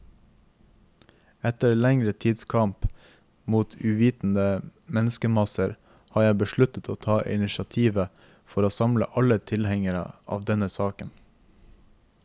Etter lengre tids kamp mot uvitende menneskemasser, har jeg besluttet å ta initiativet for å samle alle tilhengere av denne saken.